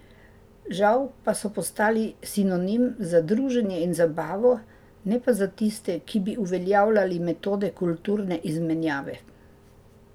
Žal pa so postali sinonim za druženje in zabavo, ne pa za tiste, ki bi uveljavljali metode kulturne izmenjave.